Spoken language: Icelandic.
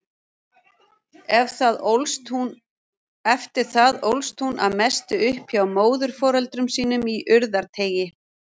Eftir það ólst hún að mestu upp hjá móðurforeldrum sínum í Urðarteigi.